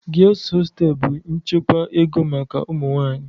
Girls hostels bụ nchekwa ego maka ụmụ nwanyị